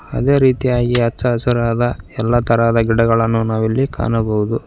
ಅದೇ ರೀತಿಯಾಗಿ ಹಚ್ಚಹಸಿರದ ಎಲ್ಲ ತರಹದ ಗಿಡಗಳನ್ನು ನಾವು ಇಲ್ಲಿ ಕಾಣಬಹುದು.